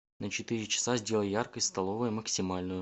на четыре часа сделай яркость столовая максимальную